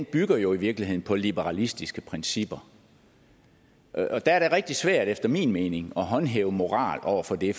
bygger jo i virkeligheden på liberalistiske principper og der er det rigtig svært efter min mening at håndhæve moral over for det